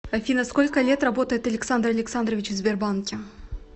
афина сколько лет работает александр александрович в сбербанке